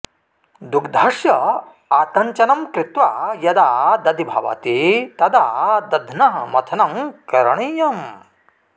दुग्धस्य आतञ्चनं कृत्वा यदा दधि भवति तदा दध्नः मथनं करणीयम्